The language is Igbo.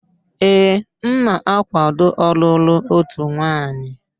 Ee, m na-akwaado ọlụlụ otu nwanyị.